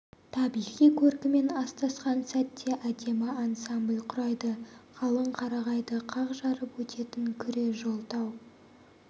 табиғи көркімен астасқан сәтте әдемі ансамбль құрайды қалың қарағайды қақ жарып өтетін күре жол тау